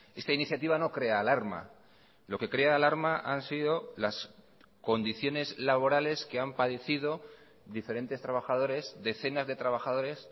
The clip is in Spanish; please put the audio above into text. esta iniciativa no crea alarma lo que crea alarma han sido las condiciones laborales que han padecido diferentes trabajadores decenas de trabajadores